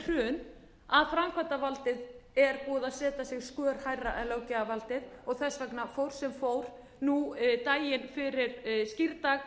hrun að framkvæmdarvaldið er búið að setja sig skör hærra en löggjafarvaldið og þess vegna fór sem fór daginn fyrir skírdag